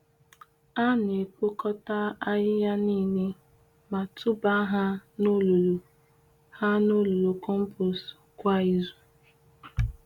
Ana ekpokota ahịhịa niile ma tụba ha n'olulu ha n'olulu compost kwa izu.